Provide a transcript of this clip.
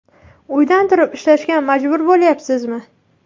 Uydan turib ishlashga majbur bo‘lyapsizmi?